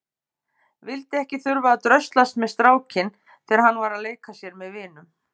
Vildi ekki þurfa að dröslast með strákinn þegar hann var að leika sér með vinum.